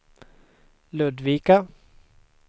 Ludvika